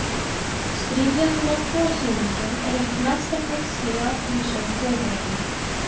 Stríðið um regnbogasilunginn er eitt mesta hneyksli í atvinnusögu þjóðarinnar.